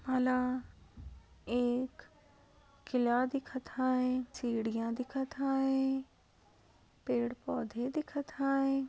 मला एक किल्ला दिखत हाय. चिडिया दिखत हाय. पेड़ पौधे दिखत हाय.